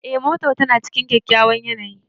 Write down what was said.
Eh, motar tana cikin kyakkyawan yanayi.